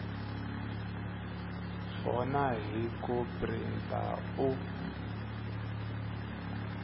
swona hi ku printa u